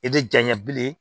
I tɛ janɲɛ bilen